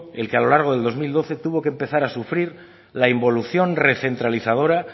el que a lo largo del dos mil doce tuvo que empezar a sufrir la involución recentralizadora